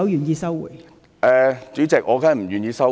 代理主席，我當然不願意收回。